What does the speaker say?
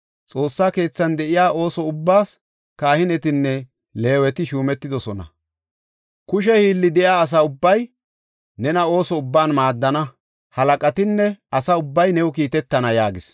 Xoossa keethan de7iya ooso ubbaas kahinetinne Leeweti shuumetidosona. Kushe hiilli de7iya asa ubbay nena ooso ubban maaddana. Halaqatinne asa ubbay new kiitetana” yaagis.